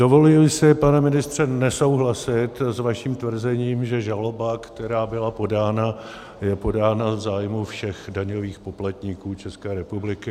Dovoluji si, pane ministře, nesouhlasit s vaším tvrzením, že žaloba, která byla podána, je podána v zájmu všech daňových poplatníků České republiky.